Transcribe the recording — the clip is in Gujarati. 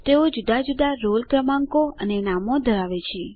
તેઓ જુદા જુદા રોલ ક્રમાંકો અને નામો ધરાવે છે